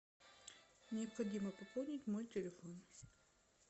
необходимо пополнить мой телефон